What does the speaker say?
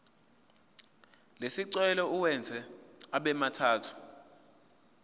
lesicelo uwenze abemathathu